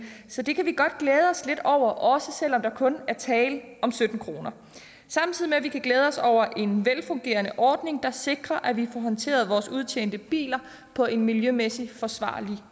så det kan vi godt glæde os lidt over også selv om der kun er tale om sytten kr samtidig med at vi kan glæde os over en velfungerende ordning der sikrer at vi får håndteret vores udtjente biler på en miljømæssigt forsvarlig